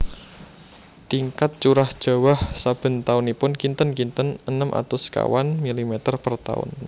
Tingkat curah jawah saben taunipun kinten kinten enem atus sekawan milimeter per taun